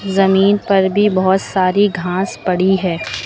जमीन पर भी बहुत सारी घास पड़ी है।